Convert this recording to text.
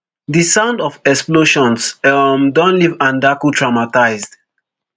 di sound of explosions um don leave andaku traumatised